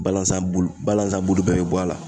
Balanzan bulu balanzan bulu bɛɛ be bɔ a la